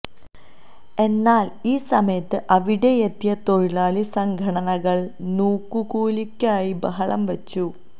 എന്നാല് ഈ സമയത്ത് അവിടയെത്തിയ തൊഴിലാളി സംഘടനകള് നോക്കൂകൂലിയ്ക്കായി ബഹളം വെച്ചു